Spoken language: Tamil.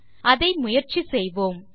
அதை முயற்சி செய்வோம்